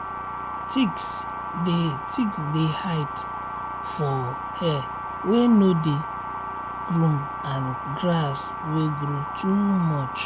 um ticks dey um ticks dey hide um for um hair wey no dey groom and grass wey grow too much.